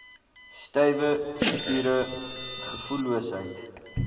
stywe spiere gevoelloosheid